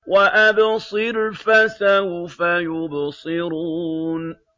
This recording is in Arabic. وَأَبْصِرْ فَسَوْفَ يُبْصِرُونَ